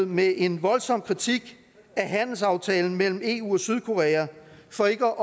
med en voldsom kritik af handelsaftalen mellem eu og sydkorea for ikke